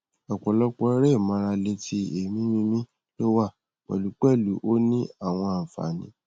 opolopo ere imarale ti eemi mimi lowa pelupelu o ni awon anfani